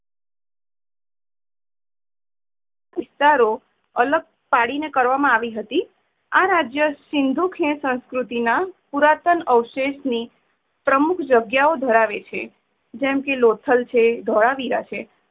ઉતારો અલગ પડી ને કરવામાં આવી હતી. આ રાજય સિન્ધુ ખીણ સંસ્કૃતિ ના પુરાતન અવષેશની અમુક જગયા નો ધરાવે છે. જેમ કે લોથલ છે ધોળાવીરા છે